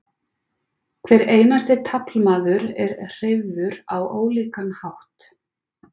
hver einasti taflmaður er hreyfður á ólíkan hátt